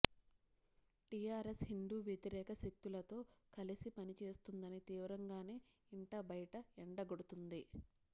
TRS Hindu వ్యతిరేక శక్తులతో కలిసి పనిచేస్తోందని తీవ్రంగానే ఇంటా బయట ఎండగడుతోంది